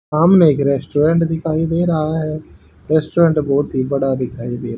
सामने एक रेस्टोरेंट दिखाई दे रहा है रेस्टोरेंट बहोत ही बड़ा दिखाई दे रा--